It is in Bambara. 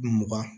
Mugan